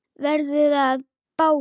Verður að báli.